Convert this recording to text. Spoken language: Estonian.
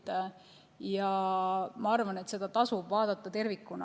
Ma arvan, et seda tasub vaadata tervikuna.